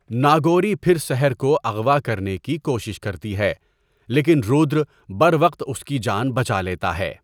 ناگوری پھر سحر کو اغوا کرنے کی کوشش کرتی ہے لیکن رودرا بروقت اس کی جان بچا لیتا ہے۔